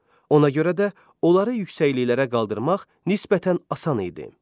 Ona görə də onları yüksəkliklərə qaldırmaq nisbətən asan idi.